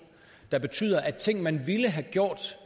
der betyder at ting man ville have gjort